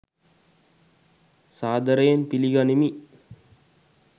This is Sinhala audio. සාදරයෙන් පිළිගනිමි!